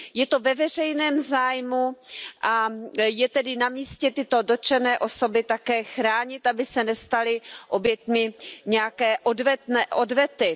Je to ve veřejném zájmu a je tedy na místě tyto dotčené osoby také chránit, aby se nestaly obětmi nějaké odvety.